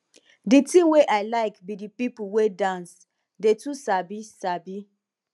the thing wey i like be the people wey dance dey too sabi sabi